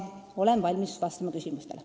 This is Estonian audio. Olen valmis vastama küsimustele.